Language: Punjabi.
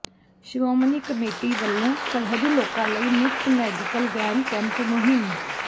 ਸ਼੍ਰੋਮਣੀ ਕਮੇਟੀ ਵੱਲੋਂ ਸਰਹੱਦੀ ਲੋਕਾਂ ਲਈ ਮੁਫਤ ਮੈਡੀਕਲ ਵੈਨ ਕੈਂਪ ਮੁਹਿੰਮ